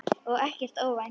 Og ekkert óvænt.